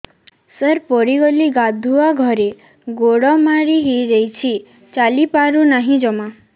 ସାର ପଡ଼ିଗଲି ଗାଧୁଆଘରେ ଗୋଡ ମୋଡି ହେଇଯାଇଛି ଚାଲିପାରୁ ନାହିଁ ଜମା